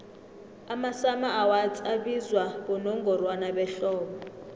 amasummer awards abizwa bonongorwana behlobo